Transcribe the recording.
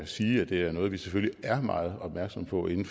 sige at det er noget vi selvfølgelig er meget opmærksomme på inden